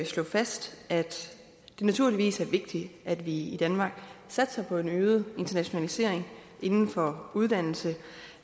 slå fast at det naturligvis er vigtigt at vi i danmark satser på en øget internationalisering inden for uddannelse